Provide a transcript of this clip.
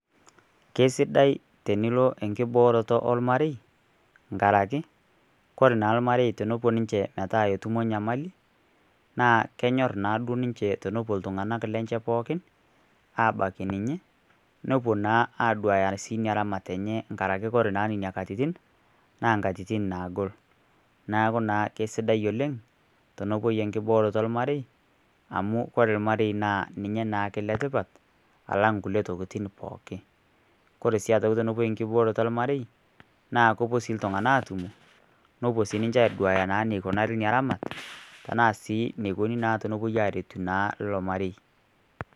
Keisidai tenilo enkibooroto ormarei tenkaraki ore naa ormarei tenilo netum enyamali naa kenyor naa duo ninche tenepuo iltung'anak lenche pookin aabaiki ninye nepuo naa aduaya sii ina ramatare enye nkaraki naa ore nena katitin naa inkatitin naagol neeku naa keisidai oleng tenepuoi enkibooroto ormarei amu ore ormarei naa ninye naake oletipat alang inkulie pookin kore sii aitoki tenepuoi enkibooroto ormarei naa kepuo sii iltung'anak aatumo nepuo sii adua eneikunare eramat nepuo naa aduaya enekuinari ilo mareim